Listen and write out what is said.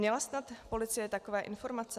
Měla snad policie takové informace?